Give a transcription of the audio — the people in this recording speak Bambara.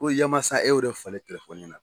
Ko yamasa e y'o de falen telefɔni na